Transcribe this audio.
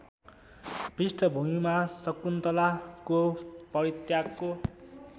पृष्ठभूमिमा शकुन्तलाको परित्यागको